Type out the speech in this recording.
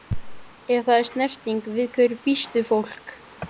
Ef það er snerting- við hverju býst fólk?